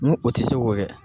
N ko o te se k'o kɛ